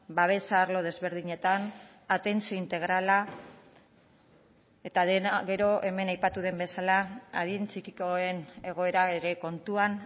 babesa arlo desberdinetan atentzio integrala eta dena gero hemen aipatu den bezala adin txikikoen egoera ere kontuan